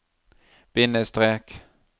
bindestrek